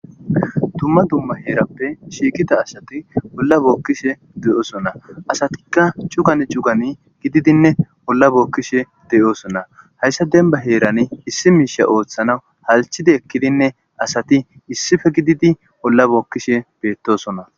Dumma dumma heerappe shiiqqida asati holla bookkishe de'osona asatikka cuggan cuggan gididinne holla bookkishe de'osona hayssa dembba heerani issi miishsha ooththana halchchidii ekkidinne asati issippe gididi holla bookkishe beettosonna